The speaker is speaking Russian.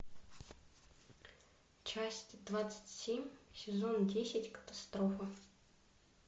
часть двадцать семь сезон десять катастрофа